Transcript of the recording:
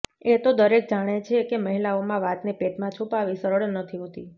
એ તો દરેક જાણે છે કે મહિલાઓમાં વાતને પેટમાં છુપાવવી સરળ નથી હોતી